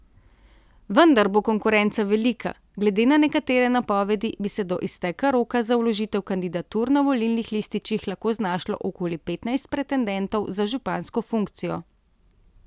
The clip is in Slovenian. Vendar bo konkurenca velika, glede na nekatere napovedi bi se do izteka roka za vložitev kandidatur na volilnih lističih lahko znašlo okoli petnajst pretendentov za župansko funkcijo.